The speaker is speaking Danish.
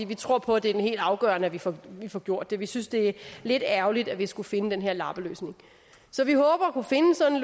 vi tror på at det er helt afgørende at vi får får gjort det vi synes det er lidt ærgerligt at vi skulle finde den her lappeløsning så vi håber at kunne finde sådan